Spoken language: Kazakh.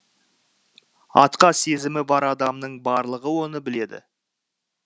атқа сезімі бар адамның барлығы оны біледі